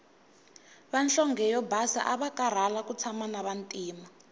vanhlonge yo basa avakarhala ku tshama na vantima